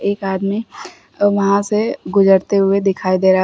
एक आदमी वहां से गुजरते हुए दिखाई दे रहा है।